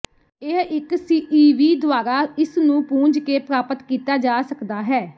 ਇਹ ਇੱਕ ਸਿਈਵੀ ਦੁਆਰਾ ਇਸਨੂੰ ਪੂੰਝ ਕੇ ਪ੍ਰਾਪਤ ਕੀਤਾ ਜਾ ਸਕਦਾ ਹੈ